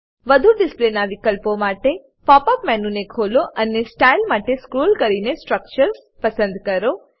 વધુ ડિસ્પ્લેના વિકલ્પો માટે પોપ અપ મેનુ ને ખોલો અને સ્ટાઇલ માટે સ્ક્રોલ કરી સ્ટ્રકચર્સ પસંદ કરો